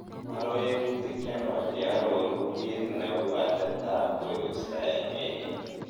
aroeutik chenwach cheororu kiit neu atebtab koristo en wigini